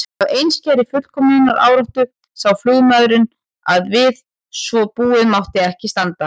Af einskærri fullkomnunaráráttu sá flugmaðurinn að við svo búið mátti ekki standa.